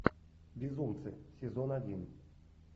безумцы сезон один